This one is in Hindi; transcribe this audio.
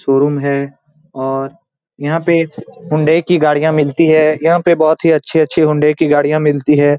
शोरूम है। और यहाँ पे हुंडई की गाड़िया मिलती है। यहाँ पे बोहोत ही अच्छी-अच्छी हुंडई की गाड़िया मिलती है।